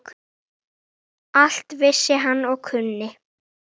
Allt vissi hann og kunni.